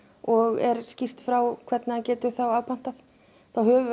og er skýrt frá hvernig hann getur þá afpantað þá höfum við